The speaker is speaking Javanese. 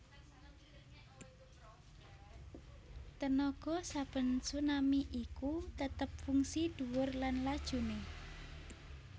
Tenaga saben tsunami iku tetep fungsi dhuwur lan lajuné